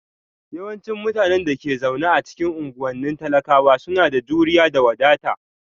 Yawancin mutanen da ke zaune a cikin unguwannin talakawa suna da juriya da wadata